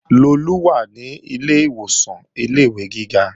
Lolú wà ní ilé ìwòsàn ilé-ìwé gíga